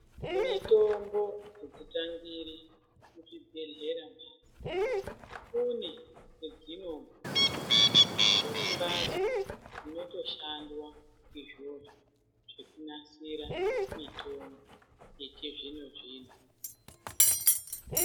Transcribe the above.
Mitombo adzitambiri muzvibhedhlera Kune kwadzinobva kune mbatso imotoshandwa izvozvo kunasira mitombo yechizvino zvino.